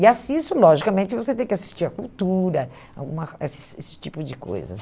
E assisto, logicamente, você tem que assistir à cultura, alguma eh esse esse tipo de coisas.